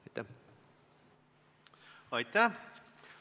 Aitäh!